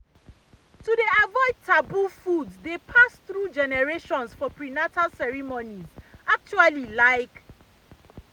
to dey avoid taboo foods dey pass through generations for prenatal ceremonies actually like